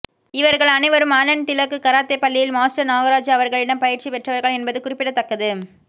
இவர்கள் அனைவரும் Alan Tilak karate பள்ளியின் மாஸ்டர் நாகராஜ் அவர்களிடம் பயிற்சி பெற்றவர்கள் என்பது குறிப்பிடத்தக்கது